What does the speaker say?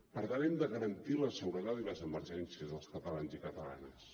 per tant hem de garantir la seguretat i les emergències dels catalans i catalanes